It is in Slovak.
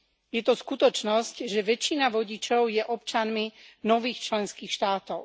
Je to skutočnosť, že väčšina vodičov je občanmi nových členských štátov.